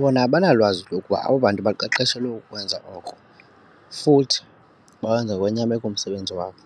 bona abanalwazi lokuba abo bantu baqeqeshelwe ukukwenza oko futhi bawenza ngokwenyameko umsebenzi wabo.